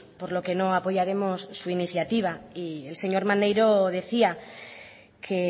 por lo que no apoyaremos su iniciativa y el señor maneiro decía que